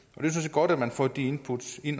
godt at man får de input